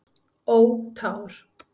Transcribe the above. Ó tár.